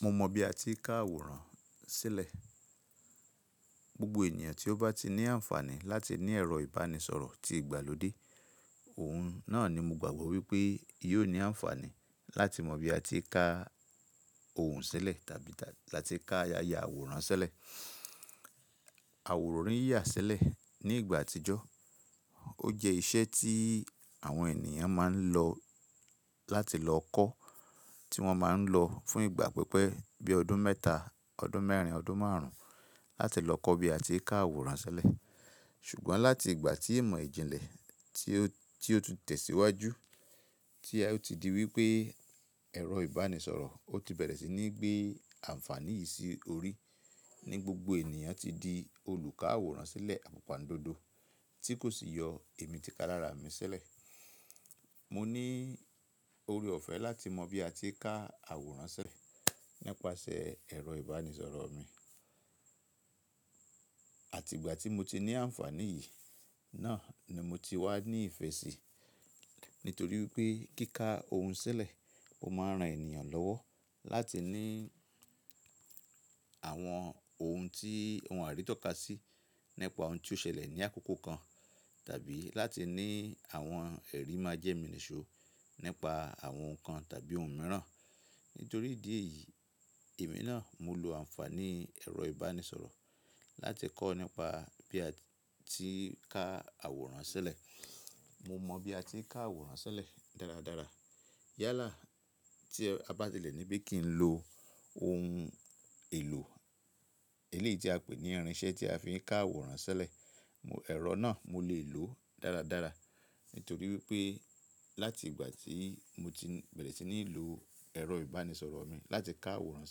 Mo mọ bí a ti ń ká àwòrán sílẹ̀. Gbogbo ènìyàn tí ó bá ti ní àǹfààní láti ní ẹ̀rọ ìbánisọ̀rọ̀ tí ìgbàlódé, òun náà ni mo gbàgbọ́ wípé yóò ní àǹfààní láti mọ bí a ti ń ká ohun sílẹ̀ tàbí láti ká ya ya àwòrán sílẹ̀. Àwòrán yíyà sílẹ̀ ní ìgbà àtijọ́ ọ jẹ́ iṣẹ́ tí àwọn ènìyàn máa ń lọ láti lọ kọ́, tí wọ́n máa ń lọ fún ìgbà pípẹ́ bí ọdún mẹ́ta, ọdún mẹ́rin, ọdún márùn ún láti lọ kọ́ bí a ti ń ká àwòrán sílẹ̀. Ṣùgbọ́n láti ìgbà tí ìmọ̀ ìjìnlẹ̀ tí ó ti tẹ̀síwájú, tí ó ti di wípé ẹ̀rọ ìbánisọ̀rọ̀ ó ti bẹ̀rẹ̀ sí ní gbé àǹfààní yìí sí orí ní gbogbo ènìyàn tí di olùká àwòrán sílẹ̀ àpòpàndodo tí kò sì yọ èmi ti ká lára mi sílẹ̀. Mo ní ore ọ̀fẹ́ láti mọ bí a ti ń ká àwòrán sílẹ̀ nípasẹ̀ ẹ̀rọ ìbánisọ̀rọ̀ mi. Àti ìgbà tí mo ti ní àǹfààní yìí náà ni mo ti wá ní ìfẹ́ sí, nítorí wípé kíká ohun sílẹ̀, o máa ń ran ènìyàn lọ́wọ́ láti ní àwọn ohun tí òun á rí tọ́ka sí, nípa ohun tí ó ṣẹlẹ̀ ní àkókò kan tàbí láti ní àwọn ẹ̀rí májẹ̀mínìṣò nípa àwọn ohun kan tàbí ohun mìíràn. Nítorí ìdí èyí, èmi náà mo lo àǹfààní ẹ̀rọ ìbánisọ̀rọ̀ láti kọ́ nípa bí a ti ń ká àwòrán sílẹ̀. Mo mọ bí a ti ń ká àwòrán sílẹ̀ dáradára. Yálà tí e a bá tilẹ̀ níbí kí n lo ohun èlò eléì tí a pè ní irinṣẹ́ tí a fi ń ká àwòrán sílẹ̀, ẹ̀rọ náà mo lè lòó dáradára. Nítorí wípé láti ìgbà tí mo ti bẹ̀rẹ̀ sí ní lò ẹ̀rọ ìbánisọ̀rọ̀ mi láti ká àwòrán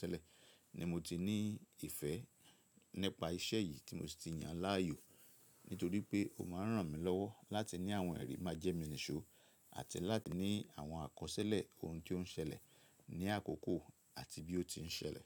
sílẹ̀ ni mo ti ní ìfẹ́ nípa iṣẹ́ yìí tí mo sì ti yàn láàyò. Nítorí pé o máa ń ràn mí lọ́wọ́ láti ní àwọn ẹ̀rí májẹ̀mínìṣò àti láti ní àwọn àkọsílẹ̀ ohun tí ó ń ṣẹlẹ̀ ní àkókò àti bí ó ti ń ṣẹlẹ̀.